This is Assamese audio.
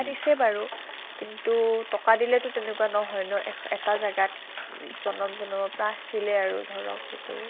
দিছে বাৰু কিন্তু ট্কা দিলে টো তেনেকুৱা নহয় ন, এটা জাগাত জনম জনমৰ পৰা আছিলে আৰু ধৰক সিটো